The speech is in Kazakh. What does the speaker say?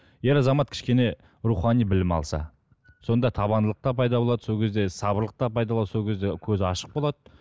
ер азамат кішкене рухани білім алса сонда табандылық та пайда болады сол кезде сабырлық та пайда болады сол кезде көзі ашық болады